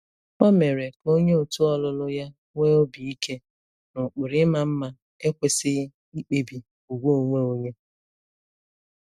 O mere ka onye òtù ọlụlụ ya nwee obi ike na ụkpụrụ ịma mma ekwesịghị ikpebi ùgwù onwe onye.